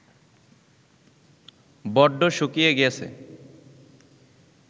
বড্ড শুকিয়ে গেছে